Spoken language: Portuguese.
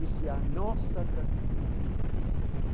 Isto é a nossa tradição.